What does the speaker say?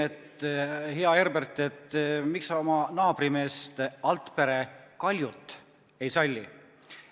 Küsisin hea Herberti käest, miks ta oma naabrimeest Altpere Kaljut ei salli.